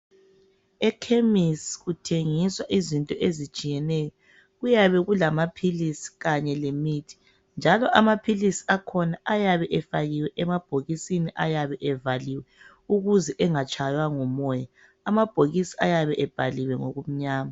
Ekhemisi kuthengiswa izinto ezitshiyeneyo. Kuyabe kulamaphilisi kanye lemithi, njalo amaphilisi akhona ayabe efakiwe emabhokisini ayabe evaliwe ukuze engatshaywa ngumoya. Amabhokisi ayabe ebhaliwe ngokumnyama.